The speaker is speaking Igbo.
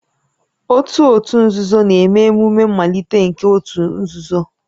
Otu òtù nzuzo na-eme emume mmalite nke òtù nzuzo